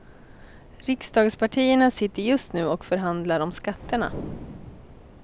Riksdagspartierna sitter just nu och förhandlar om skatterna.